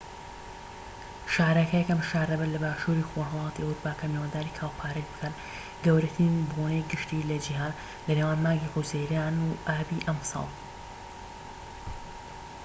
شارەکە یەکەم شار دەبێت لە باشوری خۆرهەڵاتی ئەوروپا کە میوانداری کاوپارەید بکات گەورەترین بۆنەی گشتی لە جیهان لە نێوان مانگی حوزەیران و ئابی ئەم ساڵ